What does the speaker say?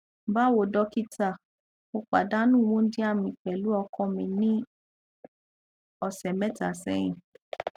bawo dókítà mo pàdánù wundia mi pẹlú ọkọ mi ní ọsẹ mẹta sẹyìn